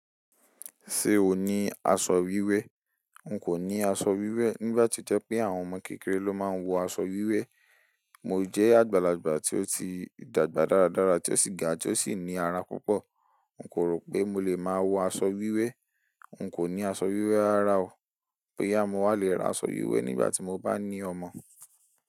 Ṣe o ni aṣọ wiwe? Nko ni aṣọ wiwe nigba tio je wipẹ awọn ọmọ kekere lo ma nwọ aṣọ wiwe. Mo jẹ agbalagba ti o ti dagba daradara, ti o ṣì ga tio ṣì ni ara púpọ̀. N kò rò pé mo lè máa wọ aṣọ wiwe. N kò ni aṣọ wiwe rara o, boyá mo wà lè raa aṣọ wiwẹ nigbati mo bá ní ọmọ.